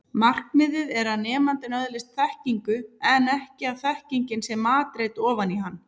Markmiðið er að nemandinn öðlist þekkingu en ekki að þekkingin sé matreidd ofan í hann.